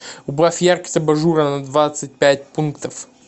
убавь яркость абажура на двадцать пять пунктов